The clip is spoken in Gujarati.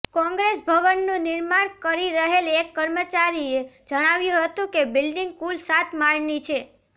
કોંગ્રેસ ભવનનું નિર્માણ કરી રહેલ એક કર્મચારીએ જણાવ્યું હતું કે બિલ્ડીંગ કુલ સાત માળની છે